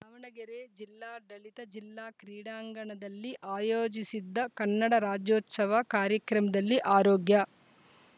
ದಾವಣಗೆರೆ ಜಿಲ್ಲಾಡಳಿತ ಜಿಲ್ಲಾ ಕ್ರೀಡಾಂಗಣದಲ್ಲಿ ಆಯೋಜಿಸಿದ್ದ ಕನ್ನಡ ರಾಜ್ಯೋತ್ಸವ ಕಾರ್ಯಕ್ರಮದಲ್ಲಿ ಆರೋಗ್ಯ